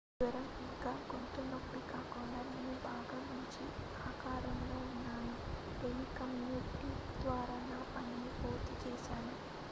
"""జ్వరం ఇంకా గొంతు నొప్పి కాకుండా నేను బాగా మంచి ఆకారంలో ఉన్నాను టెలికమ్యుటింగ్ ద్వారా నా పనిని పూర్తి చేస్తాను.""